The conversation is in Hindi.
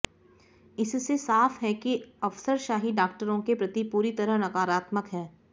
इससे साफ है कि अफसरशाही डॉक्टरों के प्रति पूरी तरह नकारात्मक है